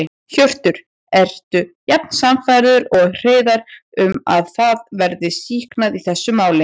Hjörtur: Ertu jafn sannfærður og Hreiðar um að það verði sýknað í þessu máli?